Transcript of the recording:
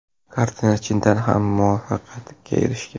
Kartina chindan ham muvaffaqiyatga erishgan.